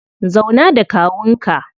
Zauna da kawun ka.